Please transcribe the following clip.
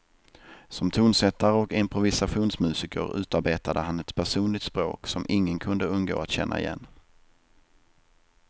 Som tonsättare och improvisationsmusiker utarbetade han ett personligt språk, som ingen kunde undgå att känna igen.